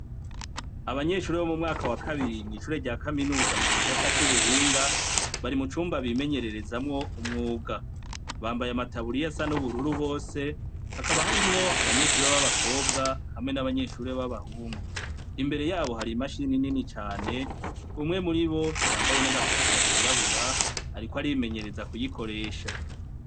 abanyeshuri bo mu mwaka wa kabiri mw'ishure rya kaminuza mu gisata c'ubuhinga bari mu cumba bimenyererezamwo umwuga bambaye amataburiya asa n'ubururu bose hakaba hari mwo abanyeshure b'abakobwa hamwe n'abanyeshure b'abahungu imbere yabo hari imashini nini cane umwe muri bo yambaye n'agakofera kirabura ariko ari imenyereza kuyikoresha.